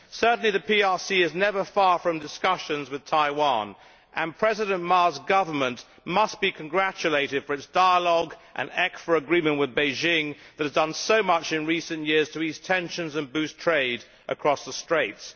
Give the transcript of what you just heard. Certainly the PRC is never far from discussions with Taiwan, and President Ma's government must be congratulated for its dialogue and ECFA agreement with Beijing that has done so much in recent years to ease tensions and boost trade across the Straits.